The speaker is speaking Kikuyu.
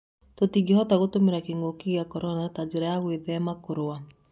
Tũtingĩhota kũhũthĩra kĩng'ũki gĩa Korona ta njĩra ya gũĩthema kũrũa.